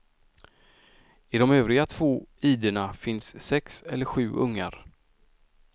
I de övriga två idena finns sex eller sju ungar.